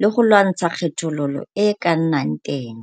le go lwantsha kgethololo e e ka nnang teng.